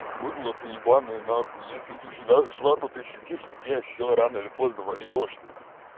будло ты ебанное нахуй если ты сюда зашла то ты сидишь здесь все рано или поздно вольёшься